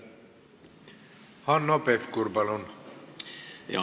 Hanno Pevkur, palun!